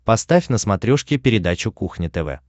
поставь на смотрешке передачу кухня тв